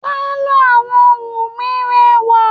pálọ̀ awọ́n Wunmi rẹwà.